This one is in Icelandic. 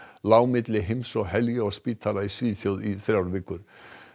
lá milli heims og helju á spítala í Svíþjóð í þrjár vikur